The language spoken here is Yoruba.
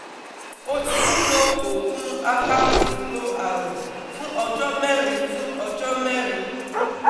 O ti ń lo oògùn apakòkòrò àrùn fún ọjọ́ mẹ́rin fún ọjọ́ mẹ́rin